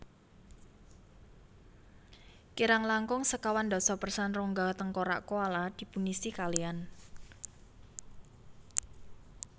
Kirang langkung sekawan dasa persen rongga tengkorak koala dipunisi kaliyan